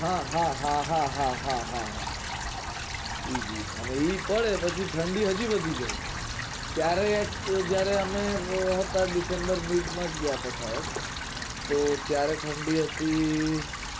હા હા હા હા હા હા હા ઈ જ ઈ જ અને ઈ પડે પછી ઠંડી હજી વધી જાય ક્યારેક એ જયારે મેં એ માં જ ગયા થા શાયદ તો ત્યારે ઠંડી હતી